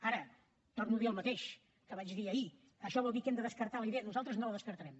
ara torno a dir el mateix que vaig dir ahir això vol dir que hem de descartar la idea nosaltres no la descartarem